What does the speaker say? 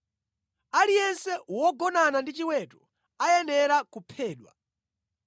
“Aliyense wogonana ndi chiweto ayenera kuphedwa.